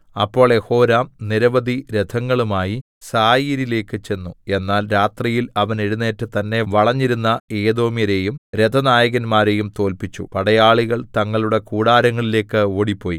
അപ്പോൾ യെഹോരാം നിരവധി രഥങ്ങളുമായി സായിരിലേക്ക് ചെന്നു എന്നാൽ രാത്രിയിൽ അവൻ എഴുന്നേറ്റ് തന്നെ വളഞ്ഞിരുന്ന ഏദോമ്യരെയും രഥനായകന്മാരെയും തോല്പിച്ചു പടയാളികൾ തങ്ങളുടെ കൂടാരങ്ങളിലേക്ക് ഓടിപ്പോയി